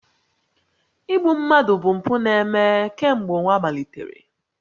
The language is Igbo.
Igbu mmadụ bụ mpụ na-eme kemgbe ụwa malitere